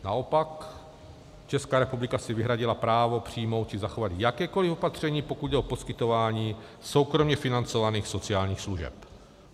Naopak Česká republika si vyhradila právo přijmout či zachovat jakékoli opatření, pokud jde o poskytování soukromě financovaných sociálních služeb.